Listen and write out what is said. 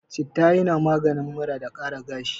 Citta yana maganin mura da ƙara gashi.